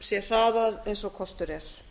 sé hraðað sem kostur er